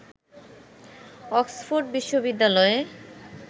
Oxford বিশ্ববিদ্যালয়ে